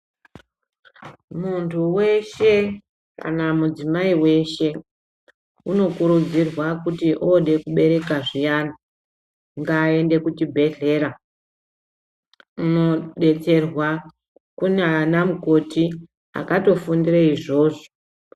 Munhu weshe kana mudzimai weshe unokurudzirwa kuti ode kubereka zviyani, ngaende kuchibhedhleya unodetserwa kuna anamukhoti akatofundira izvozvo.